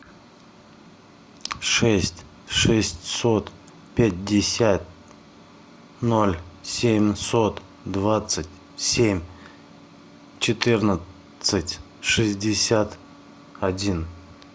шесть шестьсот пятьдесят ноль семьсот двадцать семь четырнадцать шестьдесят один